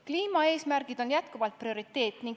Kliimaeesmärgid on jätkuvalt prioriteet.